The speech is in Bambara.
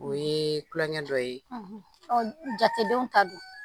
O ye tulonkɛ dɔ ye jatedenw ka dun